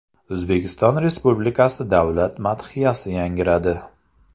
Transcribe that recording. O‘zbekiston Respublikasi Davlat madhiyasi yangradi.